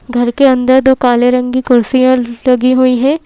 घर के अंदर दो काले रंग की कुर्सियां लगी हुई हैं।